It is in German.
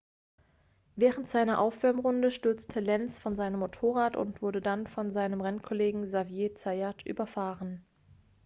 während seiner aufwärmrunde stürzte lenz von seinem motorrad und wurde dann von seinem rennkollegen xavier zayat überfahren